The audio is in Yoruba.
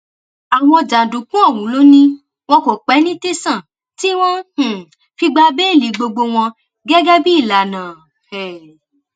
àwọn jàǹdùkú ọhún ló ní wọn kò pẹ ní tẹsán tí wọn um fi gba béèlì gbogbo wọn gẹgẹ bíi ìlànà um